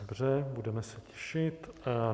Dobře, budeme se těšit.